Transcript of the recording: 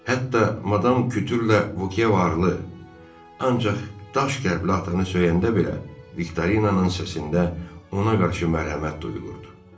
Hətta Madam Kütürlə Vokeya varlı, ancaq daş qəlbli atanı söyəndə belə Viktorinanın səsində ona qarşı mərhəmət duyulurdu.